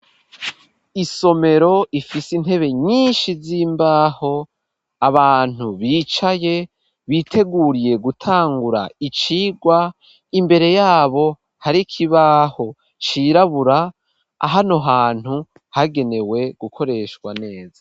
Isomero, ifise intebe nyinshi, z'imbaho; abantu bicaye, biteguriye gutangura icigwa, imbere y'abo, hari ikibaho cirabura, hano hantu, hagenewe gukoreshwa neza.